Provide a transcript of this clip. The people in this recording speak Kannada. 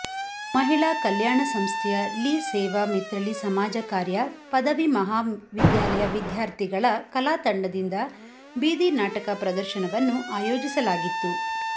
ಮಹಿಳಾ ಕಲ್ಯಾಣ ಸಂಸ್ಥೆಯ ಲಿಸೇವಾ ಮಿತ್ರಳಿ ಸಮಾಜ ಕಾರ್ಯ ಪದವಿ ಮಹಾವಿದ್ಯಾಲಯ ವಿದ್ಯಾರ್ಥಿಗಳ ಕಲಾ ತಂಡದಿಂದ ಬೀದಿನಾಟಕ ಪ್ರದರ್ಶನವನ್ನು ಆಯೋಜಿಸಲಾಗಿತ್ತು